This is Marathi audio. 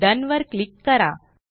डोन वर क्लिक करा